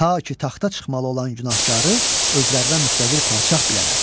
Ta ki taxta çıxmalı olan günahkarı özlərinə müstəqil padşah bilələr.